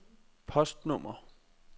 postnummer